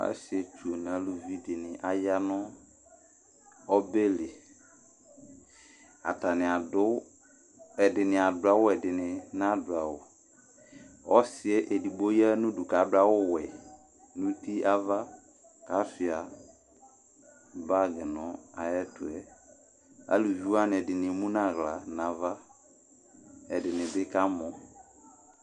Asietsu nʋ aluvi ni aya nʋ ɔbɛ li Ɛdini adu awu ɛdɩnɩ nadu awu Ɔsi edigbo ya nʋ udu, kʋ adu awuwɛ nʋ ava, kʋ asʋɩa bagɩ nʋ ayʋ ɛtʋ yɛ Aluvi wani ɛdɩnɩ emu nʋ aɣla nʋ ava Ɛdɩnɩ bɩ kamɔ